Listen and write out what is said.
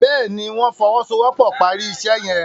Béèni wón fowosowopo pá rí iṣé yen.